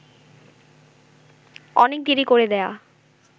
অনেক দেরী করে দেয়া